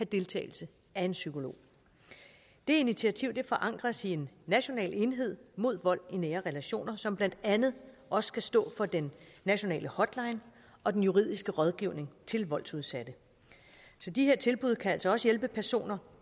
deltagelse af en psykolog det initiativ forankres i en national enhed mod vold i nære relationer som blandt andet også skal stå for den nationale hotline og den juridiske rådgivning til voldsudsatte så de her tilbud kan altså også hjælpe personer